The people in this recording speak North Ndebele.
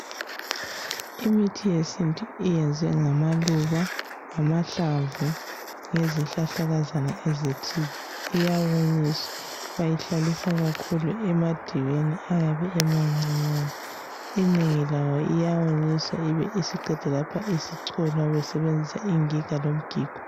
Imithi yesintu iyenzwe ngamaluba, ngamahlamvu yezihlahlakazana ezithile iyawonyiswa. Bayihlalisa kakhulu emadiweni ayabe emancinyane. Inengi layo iyawonyiswa ibe isiqedwa lapho isicholwa besebenzisa ingiga lomgigo.